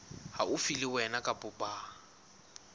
haufi le wena kapa ba